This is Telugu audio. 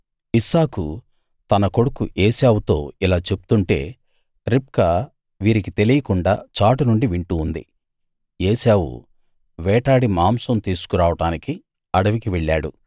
ఇస్సాకు తన కొడుకు ఏశావుతో ఇలా చెప్తుంటే రిబ్కా వీరికి తెలియకుండా చాటు నుండి వింటూ ఉంది ఏశావు వేటాడి మాంసం తీసుకు రావడానికి అడవికి వెళ్ళాడు